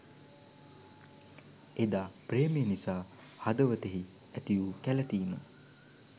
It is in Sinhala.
එදා ප්‍රේමය නිසා හදවතෙහි ඇතිවූ කැලතීම